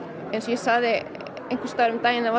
ég sagði einhvers staðar um daginn að